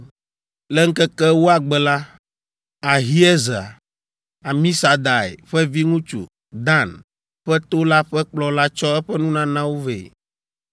Le ŋkeke ewoa gbe la, Ahiezer, Amisadai ƒe viŋutsu, Dan ƒe to la ƒe kplɔla tsɔ eƒe nunanawo vɛ.